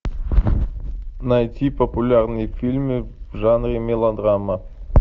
найти популярные фильмы в жанре мелодрама